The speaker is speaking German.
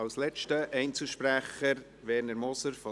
Ich möchte es vorwegnehmen: